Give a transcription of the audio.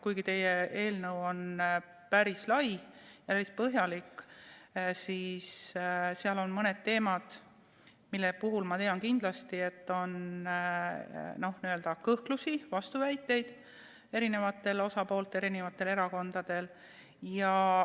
Kuigi teie eelnõu on päris lai ja päris põhjalik, on seal mõned teemad, mille puhul ma tean kindlasti, et on kõhklusi, vastuväiteid teistel osapooltel, erakondadel.